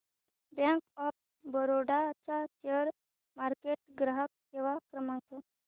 bank of Baroda चा share market ग्राहक सेवा क्रमांक